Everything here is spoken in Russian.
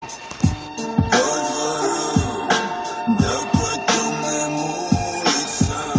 так видит